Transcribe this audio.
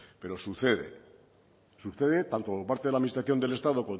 pero sucede sucede tanto por parte de la administración del estado